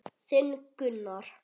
Þinn Gunnar.